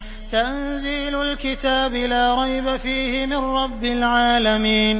تَنزِيلُ الْكِتَابِ لَا رَيْبَ فِيهِ مِن رَّبِّ الْعَالَمِينَ